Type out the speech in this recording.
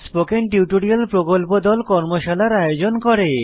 spoken tutorial প্রকল্প দল কর্মশালার আয়োজন করে